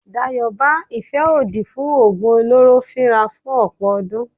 Dayọ̀ bá ìfẹ́ òdì fún oògùn olóró fíra fún ọ̀pọ̀ ọdún.